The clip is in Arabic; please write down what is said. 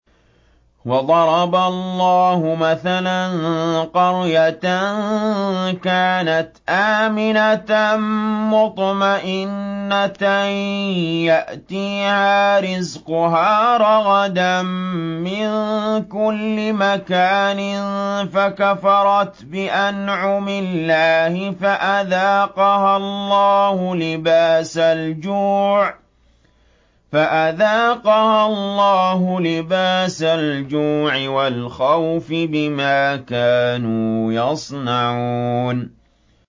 وَضَرَبَ اللَّهُ مَثَلًا قَرْيَةً كَانَتْ آمِنَةً مُّطْمَئِنَّةً يَأْتِيهَا رِزْقُهَا رَغَدًا مِّن كُلِّ مَكَانٍ فَكَفَرَتْ بِأَنْعُمِ اللَّهِ فَأَذَاقَهَا اللَّهُ لِبَاسَ الْجُوعِ وَالْخَوْفِ بِمَا كَانُوا يَصْنَعُونَ